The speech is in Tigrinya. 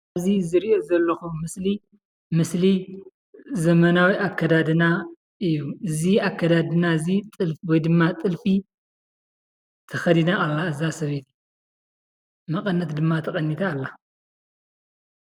እዚ ዝሪኦ ዘለኩ ምስሊ ምስሊ ዘመናዊ አከዳድና እዩ፡፡ እዚ አከዳድና እዚ ጥልፊ ወይ ድማ ጥልፊ ተከዲና አላ፡፡ እዛ ሰበይቲ መቀነት ድማ ተቀኒታ አላ፡፡